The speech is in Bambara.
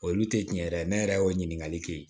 Olu tɛ tiɲɛ yɛrɛ ne yɛrɛ y'o ɲininkali kɛ yen